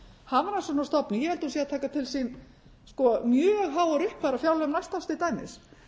hafrannsóknastofnun ég held hún sé að taka til sín sko mjög háar upphæðir af fjárlögum næsta árs til dæmis